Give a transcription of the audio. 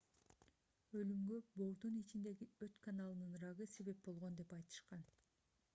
өлүмгө боордун ичиндеги өт каналынын рагы себеп болгон деп айтышкан